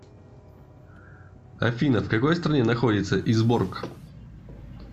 афина в какой стране находится изборк